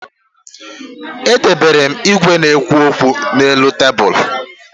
E debere igwe na-ekwu okwu n'elu tebulu